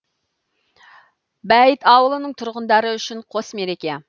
бәйет ауылының тұрғындары үшін қос мереке